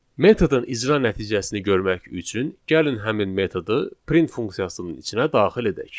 Metodun icra nəticəsini görmək üçün gəlin həmin metodu print funksiyasının içinə daxil edək.